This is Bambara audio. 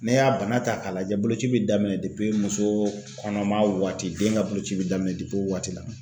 N'i y'a bana ta k'a lajɛ boloci bɛ daminɛ muso kɔnɔma waati den ka boloci bɛ daminɛ o waati la.